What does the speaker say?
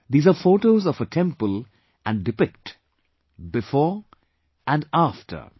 These are photos of a temple and depict 'before' and 'after'